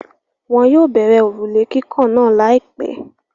Wọn yóò bẹ̀rẹ̀ òrùlé kíkàn náà láìpẹ́.